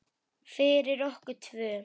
Fyrir okkur tvö.